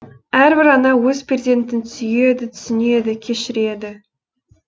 әрбір ана өз перзентін сүйеді түсінеді кешіреді